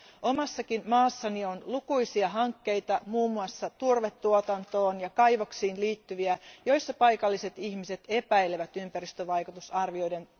Omassakin maassani on lukuisia hankkeita, muun muassa turvetuotantoon ja kaivoksiin liittyviä, joissa paikalliset ihmiset epäilevät ympäristövaikutusarvioiden